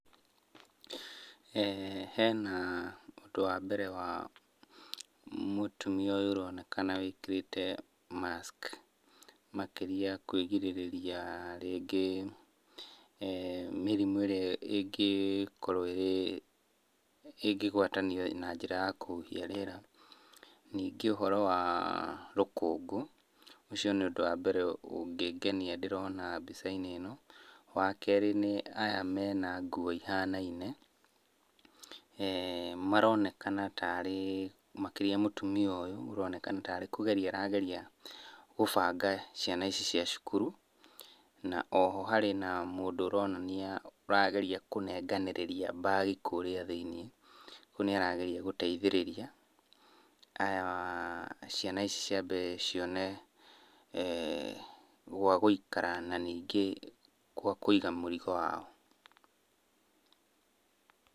Hena ũndũ wa mbere wa mũtumia ũyũ ũronekana wĩkĩrĩte mask makĩria kwĩgirĩrĩria rĩngĩ eeh mĩrimũ ĩrĩa ĩngĩkorwo ĩrĩ ĩngĩgwatanio na njĩra ya kũhuhia rĩera. Ningĩ ũhoro wa rũkũngũ, ũcio nĩ ũndũ wa mbere ũngĩngenia ndĩrona mbica-inĩ ĩno. Wakerĩ, nĩ aya mena nguo ihanaine, [eeh]maronekana tarĩ, makĩria mũtumia ũyũ ũronekana tarĩ kũgeria arageria gũbanga ciana ici cia cukuru. Na o ho harĩ na mũndũ ũronania, ũrageria kũnenganĩrĩria mbagi kũrĩa thĩiniĩ, rĩu nĩarageria gũteithĩrĩria aya, ciana ici ciambe cione eeh gwa gũikara, na ningĩ gwa kũiga mũrigo wao.